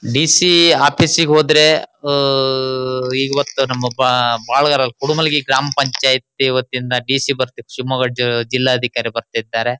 D C ಆಫೀಸಿಗೆ ಹೋದ್ರೆ ಆಹ್ ಇವತ್ತ ನಮ್ಮಅಪ್ಪಪ್ ಬಾಳಗಾರ ಕುಡುಮಲ್ಲಿ ಗ್ರಾಮಪಂಚಾಯಿತ್ತಿ ವತ್ತಿಯಿಂದಾ ಡಿ ಸಿ ಬರ್ತಿ ಶಿಮೊಗ್ಗಜಿಲ್ಲಾಧಿಕಾರಿ ಬರತ್ತಿದ್ದಾರೆ.